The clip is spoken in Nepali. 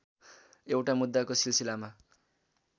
एउटा मुद्दाको सिलसिलामा